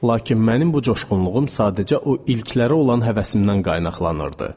Lakin mənim bu coşğunluğum sadəcə o ilklərə olan həvəsimdən qaynaqlanırdı.